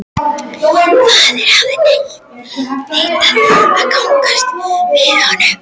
Faðirinn hafði neitað að gangast við honum.